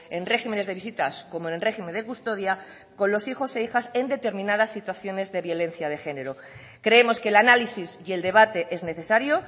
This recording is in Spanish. en regímenes de visitas como en régimen de custodia con los hijos e hijas en determinadas situaciones de violencia de género creemos que el análisis y el debate es necesario